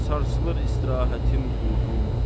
Sarsılır istirahətim, uyğum.